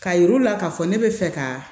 Ka yir'u la k'a fɔ ne bɛ fɛ ka